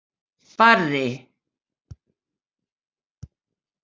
Barri